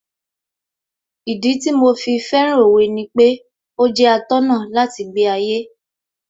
Ìdí tí mo fi fẹ́ràn Òwe ni pé ó jẹ́ atọ́nà láti gbé ayé